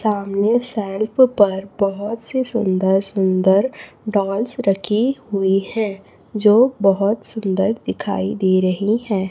सामने सेल्फ पर बहोत सी सुंदर सुंदर डॉल्स रखी हुई है जो बहोत सुंदर दिखाई दे रही है।